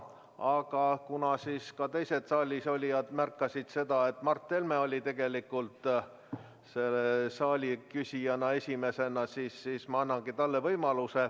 Aga kuna ka teised saalis olijad märkasid, et Mart Helme oli tegelikult küsijana esimene, siis ma annangi kõigepealt talle võimaluse.